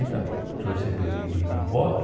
quarenta mil ele recebeu de de de voto.